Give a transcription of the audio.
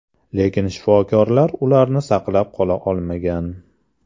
Lekin shifokorlar ularni saqlab qola olmagan.